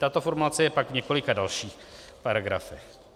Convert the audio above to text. Tato formulace je pak v několika dalších paragrafech.